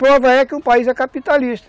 Prova é que o país é capitalista.